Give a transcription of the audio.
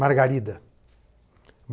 Margarida.